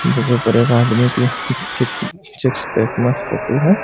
जिक ऊपर एक आदमी की सिक्स पैक मस्त फोटो है।